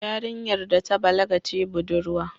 Yarinyar da ta balaga ce budurwa